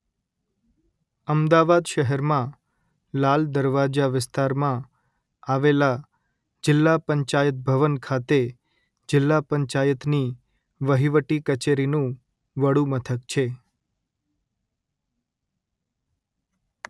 અમદાવાદ શહેરમાં લાલ દરવાજા વિસ્તારમાં આવેલા 'જિલ્લા પંચાયત ભવન' ખાતે જિલ્લા પંચાયતની વહીવટી કચેરીનું વડુમથક છે